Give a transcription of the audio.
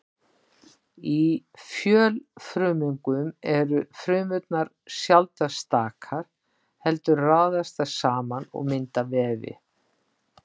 Í fjölfrumungum eru frumurnar sjaldnast stakar heldur raðast þær saman og mynda vefi.